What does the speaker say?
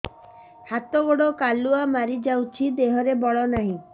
ହାତ ଗୋଡ଼ କାଲୁଆ ମାରି ଯାଉଛି ଦେହରେ ବଳ ନାହିଁ